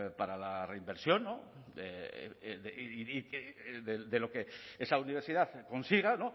para la reinversión de lo que esa universidad consiga